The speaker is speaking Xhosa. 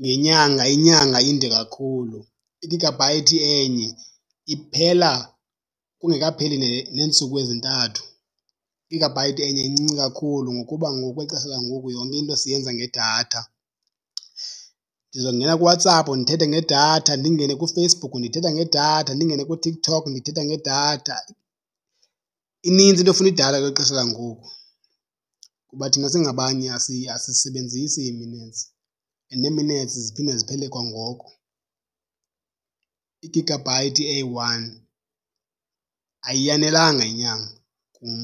ngenyanga, inyanga inde kakhulu. Igagabhayithi enye iphela kungekapheli neentsuku ezintathu. Igagabhayithi enye incinci kakhulu ngokuba ngokwexesha langoku yonke into siyenza ngedatha. Ndizongena kuWhatsApp ndithethe ngedatha, ndingene kuFacebook ndithetha ngedatha, ndingene kuTikTok ndithetha ngedatha. Inintsi into efuna idatha kweli xesha langoku kuba thina singabanye asisebenzisi ii-minutes, and ne-minutes ziphinde ziphele kwangoku. Igagabhayithi eyi-one ayiyanelanga inyanga kum.